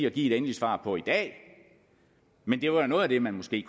og give et endeligt svar på i dag men det var da noget af det man måske